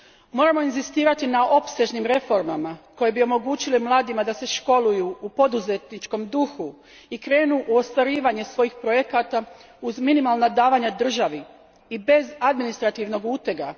Moramo inzistirati na opsežnim reformama koje bi omogućile mladima da se školuju u poduzetničkom duhu i krenu u ostvarivanje svojih projekata uz minimalna davanja državi i bez administrativnog utega.